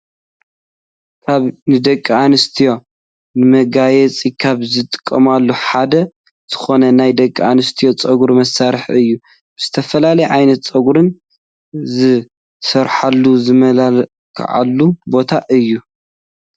ካብ ንደቂ ኣንስትዮ ንመጋየፂ ካብ ዝጥቀማሉ ሓደ ዝኮነ ናይ ደቂ ኣንስትዮ ፀጉሪ መስርሒ እዩ። ብዝተፈላለየ ዓይነት ፀጉረን ዝስርሓሉ ዝመላከዓሉ ቦታ እዩ።